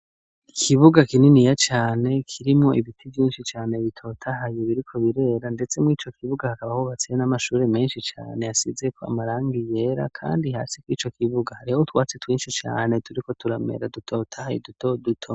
Ikibuga kinini ya cane kirimwo ibiti vyinshi cane bitotahaye ibiriko birera ndetsemwo ico kibuga hakaba ahubatseye n'amashuri menshi cane yasize ko amarangiyera, kandi hasi ko ico kibuga hareho utwatsi twinshi cane turi ko turamera dutotahaye dutoduto.